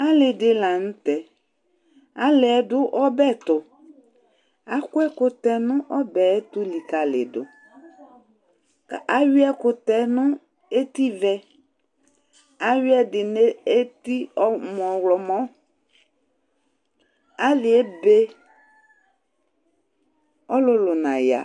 Alɩ dɩ la nʋ tɛ Alɩ yɛ dʋ ɔbɛ tʋ Akɔ ɛkʋtɛ nʋ ɔbɛ yɛ tʋ likalɩdʋ kʋ ayʋɩ ɛkʋtɛb yɛ nʋ etivɛ Ayʋɩ ɛdɩ nʋ eti ɔmɔ ɣlɔmɔ Alɩ yɛ ebe, ɔlʋlʋ naya